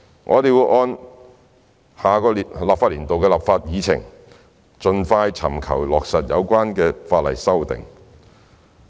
我們會按下年度的立法議程，盡快尋求落實有關法例的修訂。